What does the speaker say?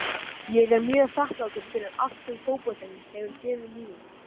Ég er mjög þakklátur fyrir allt sem fótboltinn hefur gefið lífi mínu.